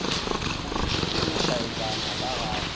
o tsošitše lešaetšana ka ga